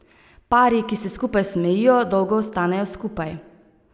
Pari, ki se skupaj smejijo, dolgo ostanejo skupaj.